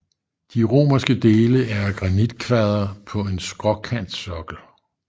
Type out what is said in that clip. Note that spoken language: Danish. De romanske dele er af granitkvadre på en skråkantsokkel